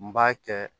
N b'a kɛ